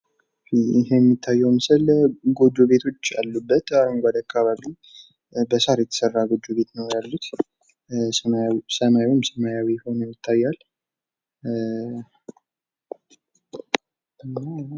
ይህ የሚታዬው ምስል ጎጆ ቤቶች ያሉበት አረጓዴ አካባቢ በሳር የተሰራ ጎጆ ቤቶች ነው ያሉት። ሰማዩም ሰማያዊ ሀኖ ይታያል።